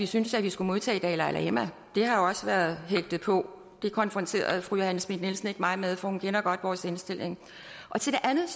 syntes at vi skulle modtage dalai lama det har også været hægtet på det konfronterede fru johanne schmidt nielsen ikke mig med for hun kender godt vores indstilling til det andet